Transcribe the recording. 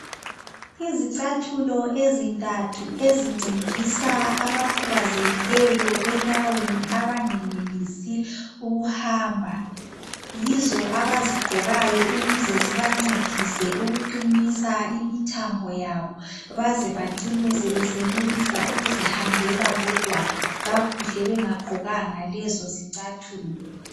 izicathulo ezintathu ezincedisa abakhubazekileyo enyaweni abangenelisi ukuhamba yizo abazigqokayo ukuze zibancedise ukugqinisa imithambo yabo baze bacine sebesenelisa ukuzihambela bodwa kakuhle bengagqokanga lezo izicathulo